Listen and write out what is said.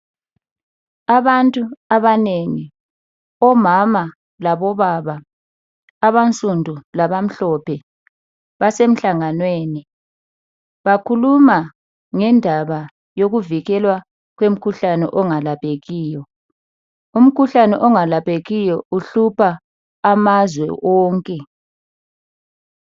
Abantu abanengi omama labobaba abansundu labamhlophe basemhlanganweni bakhuluma ngendaba eyomkhuhlane ongalaphekiyo , umkhuhlane ongalaphekiyo uhlupha amazwe onke .